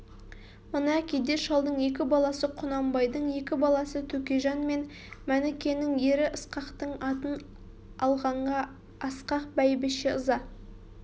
мына кедей шалдың екі баласы құнанбайдың екі баласы төкежан мен мәнікенің ері ысқақтың атын алғанға асқақ бәйбіше ыза